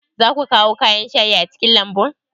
Za ku kawo kayan shayi a cikin lambun?